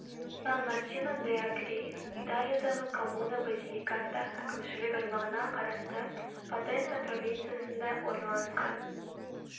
сан мартино д агри италиядағы коммуна базиликата әкімшілік аймағына қарасты потенца провинциясында орналасқан